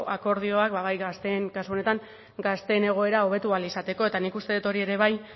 akordioak kasu honetan gazteen egoera hobetu ahal izateko eta nik uste dut hori ere bai